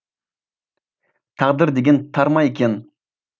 тағдыр деген тар ма екен